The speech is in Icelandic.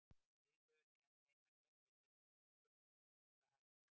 Liðið hefur ekki að neinu að keppa í deildinni lengur, eru þeir hættir?